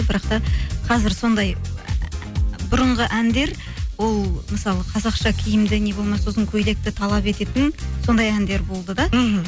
бірақ та қазір сондай бұрынғы әндер ол мысалы қазақша киімді не болмаса ұзын көйлекті талап ететін сондай әндер болды да мхм